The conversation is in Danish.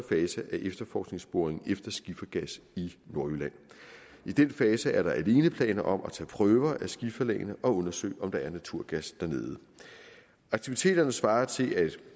fase af efterforskningsboringen efter skifergas i nordjylland i denne fase er der alene planer om at tage prøver af skiferlagene og undersøge om der er naturgas dernede aktiviteterne svarer til at